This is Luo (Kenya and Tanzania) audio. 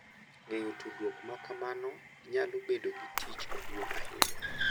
Ng’eyo tudruok ma kamano nyalo bedo gi tich maduong’ ahinya,